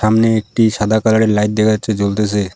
সামনে একটি সাদা কালারের লাইট দেখা যাচ্ছে জ্বলতেছে।